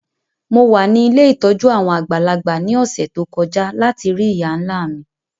Mo wa ni ilé ìtójú àwon àgbàlagbà ni ọ̀ṣẹ̀ to kọja lati rii ìyá-nla mi.